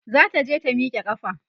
zata je ta Mika ƙafa